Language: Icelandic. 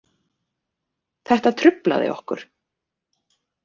Þetta truflaði okkur